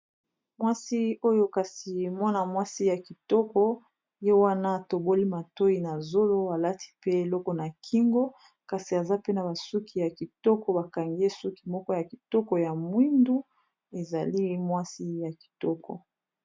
Mwasi oyo kasi mwana mwasi ya kitoko ye wana atoboli matoyi na zolo alati pe eloko na kingo kasi aza pe na basuki ya kitoko bakangi ye suki moko ya kitoko ya mwindu ezali mwasi ya kitoko.